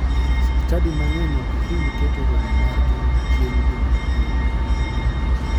Chadi mang'eny ok hiny keto romo margi chieng jumapil.